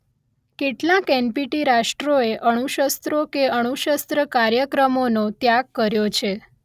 કેટલાંક એન_Letter પી_Letter ટી_Letter રાષ્ટ્રોએ અણુશસ્ત્રો કે અણુશસ્ત્ર કાર્યક્રમોનો ત્યાગ કર્યો છે